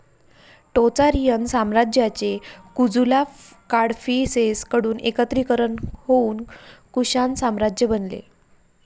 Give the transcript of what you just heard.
Tocharian साम्राज्याचे कुजूला काडफीसेस कडून एकत्रीकरण होऊन कुषाण साम्राज्य बनले.